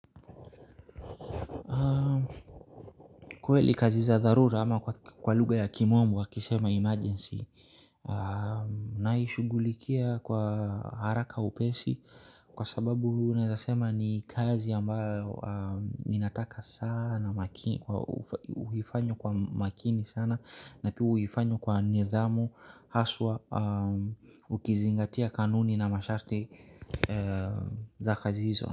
Kweli kazi za dharura ama kwa lugha ya kimombo wakisema emergency naishughulikia kwa haraka upesi kwa sababu naezasema ni kazi ambayo ninataka sana makini uhifanywe kwa makini sana na pia uhifanywe kwa nidhamu haswa ukizingatia kanuni na masharti za kazi hizo.